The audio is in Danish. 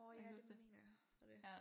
Øh ja det mener jeg og det